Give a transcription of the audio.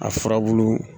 A furabulu